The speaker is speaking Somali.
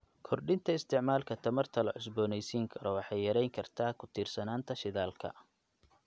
Kordhinta isticmaalka tamarta la cusboonaysiin karo waxay yareyn kartaa ku tiirsanaanta shidaalka.